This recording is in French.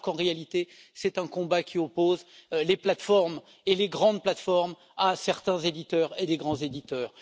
alors qu'en réalité c'est un combat qui oppose les plateformes et les grandes plateformes à certains éditeurs et de grands éditeurs.